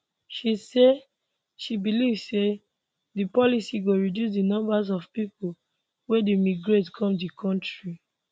she say she believe say di policy go reduce di numbers of pipo wey dey migrate come di kontri